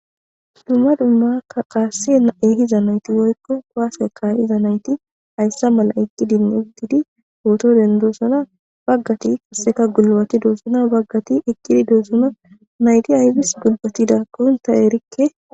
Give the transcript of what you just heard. dumma dumma kaasse ehiza nayti woykko waase ka iza nayti hayssa mala ekkidinne ubtidi ootoren doossuna baggati kasseka gulbati doozuna baggati ekkidi doozuna nayti ayfis gulphatida konta erikke